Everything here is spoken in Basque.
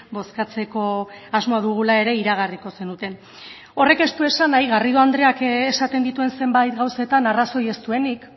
bozkatzeko asmoa dugula ere iragarriko zenuten horrek ez du esan nahi garrido andreak esaten dituen zenbait gauzetan arrazoi ez duenik